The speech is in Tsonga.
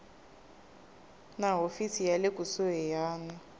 na hofisi ya le kusuhani